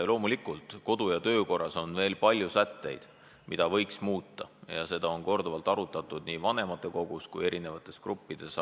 Loomulikult on kodu- ja töökorras veel palju sätteid, mida võiks muuta, ja seda on korduvalt arutatud nii vanematekogus kui erinevates gruppides.